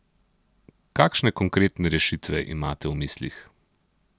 Kakšne konkretne rešitve imate v mislih?